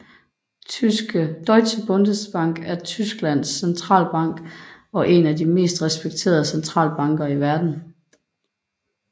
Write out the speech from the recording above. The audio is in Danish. Deutsche Bundesbank er Tysklands centralbank og en af de mest respekterede centralbanker i verden